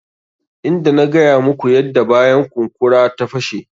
Inda na gaya muku yadda bayan kunkura ta fashe.